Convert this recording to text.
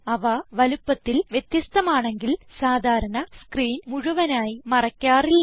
അവ വലുപ്പത്തിൽ വ്യത്യസ്ഥമാണെങ്കിൽ സാധാരണ സ്ക്രീൻ മുഴുവനായി മറയ്ക്കാറില്ല